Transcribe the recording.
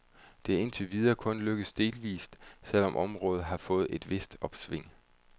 Det er indtil videre kun lykkedes delvist, selv om området har fået et vist opsving.